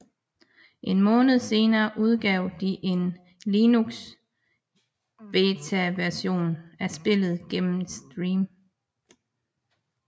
En måned senere udgav de en Linux betaversion af spillet gennem Steam